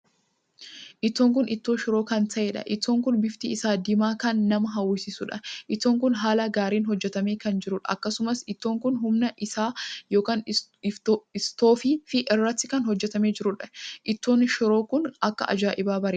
Ittoon kun ittoo shiroo kan ta`eedha. ittoon kun bifti isaa diimaa kan nama hawwisiisuudha. ittoon kun haala gaariin hojjetame kan jiruudha. akkasumas ittoon kun Humna isaa ykn istoofii irratti kan hojjetame jiruudha. ittoon shiroo kun akka ajaa'ibaa bareeda!